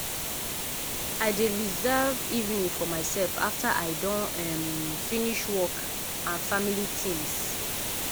i dey reserve evening for myself after i don um finish work and family tings.